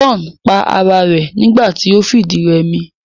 John pa ara rẹ̀ nígbà ti o fìdírẹmi